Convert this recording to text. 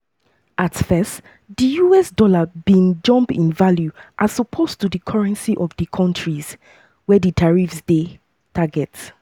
at first di us dollar bin jump in value as opposed to di currency of di kontris um wey di tariffs dey um tarket.